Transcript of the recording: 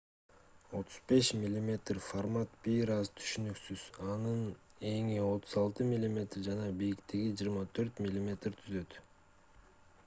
35 мм формат бир аз түшүнүксүз анын эни 36 мм жана бийиктиги 24 мм түзөт